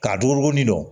K'a dogokonin dɔ